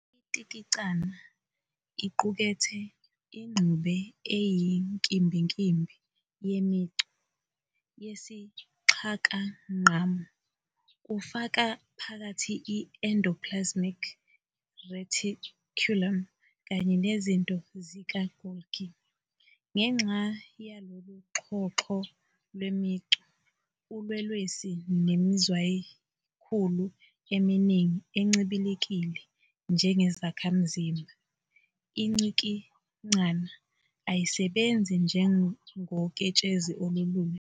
Intikicana iqukethe ingxube eyinkimbinkimbi yemicu yesixhakangqamu, kufaka phakathi i-endoplasmic reticulum kanye nezinto zikaGolgi. Ngenxa yalolu xhoxho lwemicu, ulwelwesi nemizwayikhulu emaningi encibilikile njengezakhamzimba, intikicana ayisebenzi njengoketshezi olulula.